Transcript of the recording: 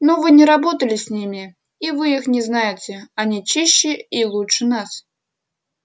но вы не работали с ними и вы их не знаете они чище и лучше нас